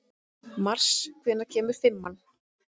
Mars, hvenær kemur fimman?